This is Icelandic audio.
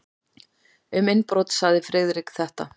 Um innbrot sagði Friðrik þetta: